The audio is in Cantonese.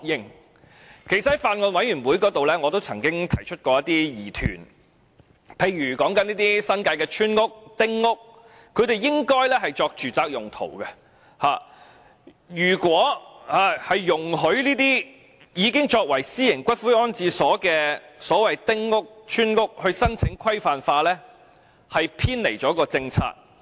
事實上，我在法案委員會會議上也曾提出一些疑問，例如新界的村屋或丁屋，本應作住宅用途，如果容許這些已經作為私營龕場的丁屋或村屋申請規範化，是否會偏離政策？